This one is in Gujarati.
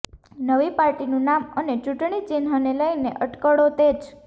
નવી પાર્ટીનું નામ અને ચૂંટણી ચિહ્નને લઈને અટકળો તેજ